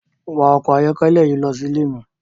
Wakọ ọkọ ayọkẹlẹ yii losi ile mi!